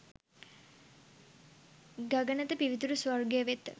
ගගනත පිවිතුරු ස්වර්ගය වෙත